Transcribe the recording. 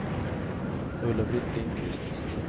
Ulla-Britt Lindquist